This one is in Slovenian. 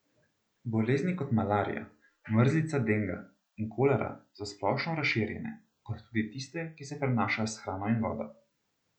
Bolezni kot malarija, mrzlica denga in kolera so splošno razširjene, kot tudi tiste, ki se prenašajo s hrano in vodo.